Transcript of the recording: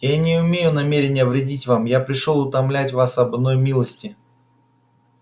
я не имею намерения вредить вам я пришёл умолять вас об одной милости